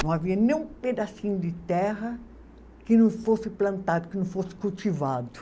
Não havia nem um pedacinho de terra que não fosse plantado, que não fosse cultivado.